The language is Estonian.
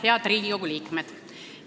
Head Riigikogu liikmed!